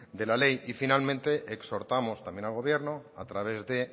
de la ley y finalmente exhortamos también al gobierno a través de